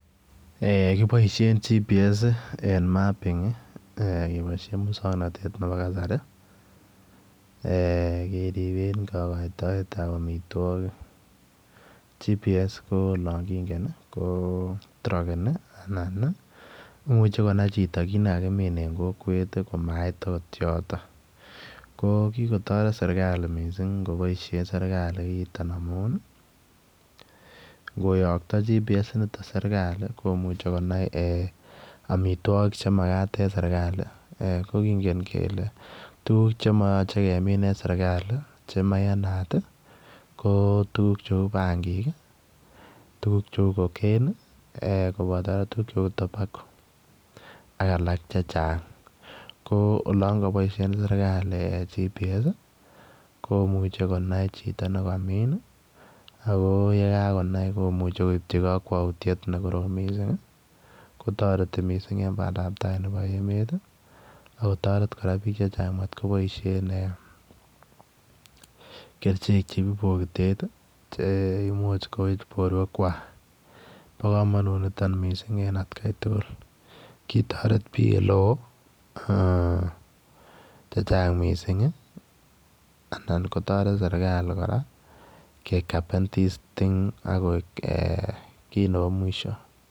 Kipoishe GPS eng' mapping kepoishe muskwog'natet nepo kasari keripen kopoitoet ab amitwogik, GPS ko lokingen ko trakenani anan imuche konay chito tukchekakimin eng' kokwet kot komait akot yotok ko kigotoret mising serikali mising' serikalit kopaishe kiniton amun ngoyokto GPS niton serikali komuchi konai amitwogiik chemkaten serikalit ko kingen kele tuguk chemache kemin eng' serikali chemayanat ko tuguk cheu bangik, tuguk cheu cocaine kopata tuguk cheu tobacco ak alak chechang' ko olon kapoishe serikali GPS komuchi konay chito nekamin akoyekagonai komuchi koipchi kokwaigutiet nekorom missing' kotoreti mising' eng' bandaptai nepo emet akotoret piik chechang' matkopoishen kerchek cheu pokitet chemuch koip porwek kwach po komanut nitok mising' eng' otkoit tugul kitoret piik elo chechang' mising' anan kotoret serikali koraa kekapen this thing ako kiit nepo mwisho.